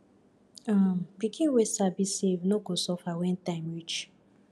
um pikin wey sabi save no go suffer when time reach